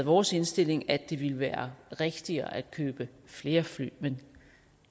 vores indstilling at det ville være rigtigere at købe flere fly men